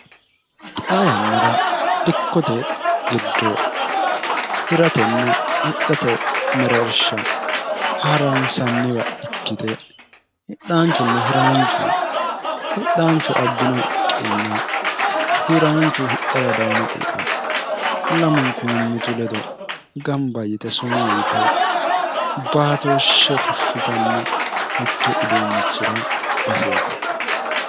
xa yannara dikkote giddo hiratenna hixhate mereersha haransanniwa ikkite hidhaanchunna hiraanchu hidhaanchu abbino iqqinna hiraanchu hidhara dayino iqa lamunku minnitu ledo gamba yite sumuu yite baatooshshe fushshitanno mittu uduunnichira baseeti